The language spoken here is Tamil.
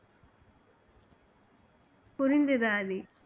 புரிந்தது ஆதி